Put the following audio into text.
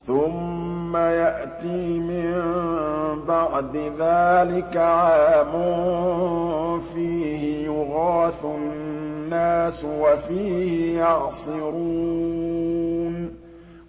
ثُمَّ يَأْتِي مِن بَعْدِ ذَٰلِكَ عَامٌ فِيهِ يُغَاثُ النَّاسُ وَفِيهِ يَعْصِرُونَ